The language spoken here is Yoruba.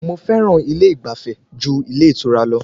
Mo fẹ́ràn ilé ìgbafẹ́ ju ilé ìtura lọ.